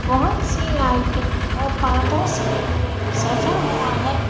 बहुत सी लाइटें और पर्दों से ये सजा हुआ है।